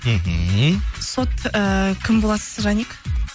мхмм сот ііі кім боласыз жаник